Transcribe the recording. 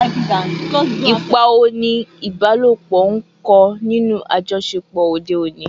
Ipa wo ni ìbálòpọ̀ ń kó nínú àjọṣepọ̀ òde òní?